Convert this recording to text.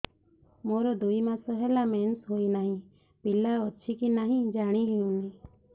ମୋର ଦୁଇ ମାସ ହେଲା ମେନ୍ସେସ ହୋଇ ନାହିଁ ପିଲା ଅଛି କି ନାହିଁ ଜାଣି ହେଉନି